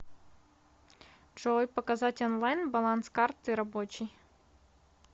джой показать онлайн баланс карты рабочей